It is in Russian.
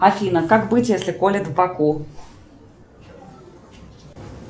афина как быть если колет в боку